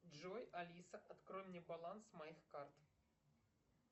джой алиса открой мне баланс моих карт